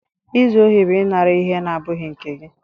Izu ohi bụ ịnara ihe na-abụghị nke gị.